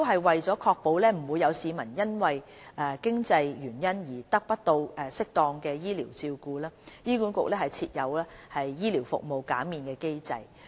為確保不會有市民因經濟原因而得不到適當的醫療照顧，醫管局設有醫療費用減免機制。